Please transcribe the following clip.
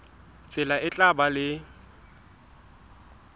tsela e tla ba le